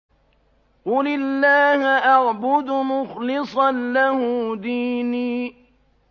قُلِ اللَّهَ أَعْبُدُ مُخْلِصًا لَّهُ دِينِي